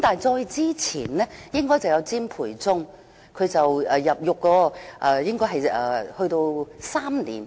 再之前應該是詹培忠，他被判入獄大約3年。